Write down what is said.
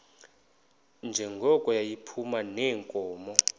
njengoko yayiphuma neenkomo